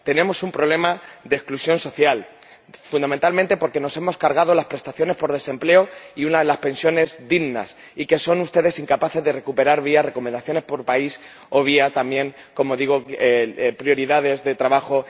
Tenemos un problema de exclusión social, fundamentalmente porque nos hemos cargado las prestaciones por desempleo y unas pensiones dignas, y que ustedes son incapaces de recuperar vía recomendaciones por país o vía también, como digo, prioridades de trabajo.